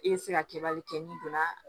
I bɛ se ka kɛbali kɛ n'i donna